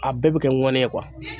A bɛɛ bɛ kɛ ŋɔni ye